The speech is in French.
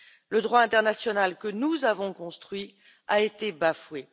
Le droit international que nous avons construit a été bafoué.